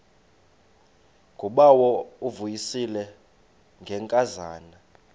ngubawo uvuyisile ngenkazana